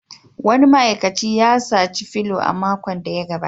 Wani ma'aikacin ya saci felu a makon da ya gabata